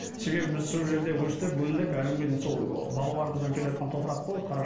себебі біз сол жерде өстік өндік әлі күнге дейін сол ы бабаларымыздан келеатқан топырақ қой